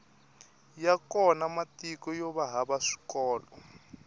ya kona matiko yova hava swikolo